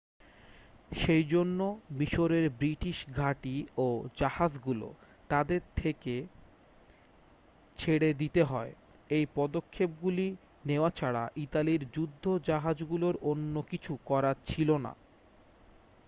সেই জন্য মিশরের ব্রিটিশ ঘাঁটি ও জাহাজগুলো থেকে তাদের ছেড়ে দিতে হয় এই পদক্ষেপগুলি নেওয়া ছাড়া ইতালির যুদ্ধজাহাজগুলোর অন্য কিছু করার ছিল না